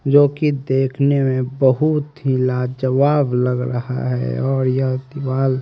जो की देखने में बहुत ही लाजवाब लग रहा है और यह दीवाल --